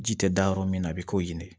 Ji tɛ da yɔrɔ min na a bɛ k'o ye